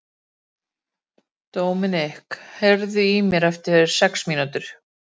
Gísli er svo drýldinn.